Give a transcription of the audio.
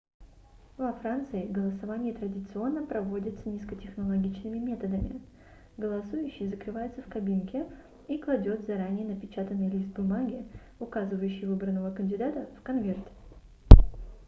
во франции голосование традиционно проводится низкотехнологичными методами голосующий закрывается в кабинке и кладет заранее напечатанный лист бумаги указывающий выбранного кандидата в конверт